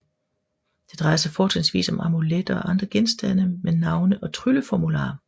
Det drejer sig fortrinsvis om amuletter og andre genstande med navne og trylleformularer